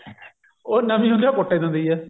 ਉਹ ਨਵੀਂ ਹੁੰਦੀ ਆ ਉਹ ਕੁੱਟ ਹੀ ਦਿੰਦੀ ਆ